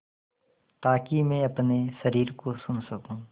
ताकि मैं अपने शरीर को सुन सकूँ